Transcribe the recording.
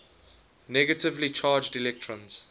negatively charged electrons